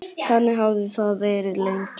Þannig hafði það verið lengi.